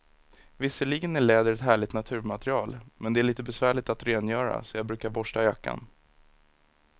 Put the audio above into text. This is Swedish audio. Visserligen är läder ett härligt naturmaterial, men det är lite besvärligt att rengöra, så jag brukar borsta jackan.